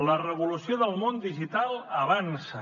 la revolució del món digital avança